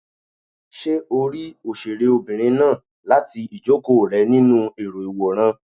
Ṣé o rí òṣèré obìnrin náà láti ìjókòó rẹ nínú èrò ìwòran?